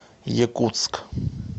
якутск